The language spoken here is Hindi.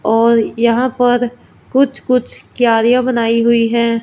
और यहां पर कुछ कुछ क्यारियां बनाई हुई है।